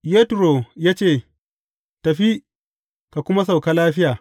Yetro ya ce, Tafi, ka kuma sauka lafiya.